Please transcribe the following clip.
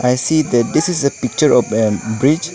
i see that this is a picture of a bridge.